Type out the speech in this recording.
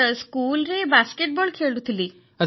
sir ସ୍କୁଲରେ basketball ଖେଳୁଥିଲି